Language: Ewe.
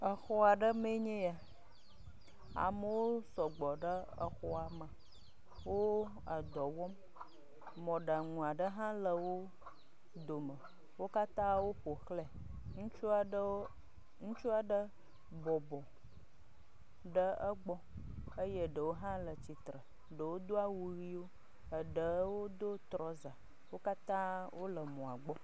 Exɔ aɖe mee nye ya, amewo sɔgbɔ ɖe exɔa me, wo edɔ wɔm, mɔɖaŋu aɖe hã le wo dome, wo katã woƒo xlɛ, ŋutsu aɖe wo ŋutsu aɖe bɔbɔ ɖe egbɔ eye ɖewo hã le tsitre, ɖewo do awu ʋiwo, eɖewo do trɔza, Wo katã wole mɔa gbɔ.